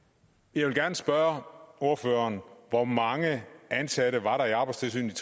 jeg vil gerne spørge ordføreren hvor mange ansatte var der i arbejdstilsynet